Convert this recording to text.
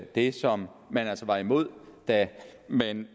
det som man altså var imod da man